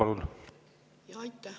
Aitäh!